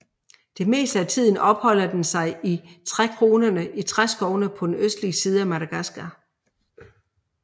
Det meste af tiden opholder den sig i trækronerne i regnskoven på den østlige side af Madagaskar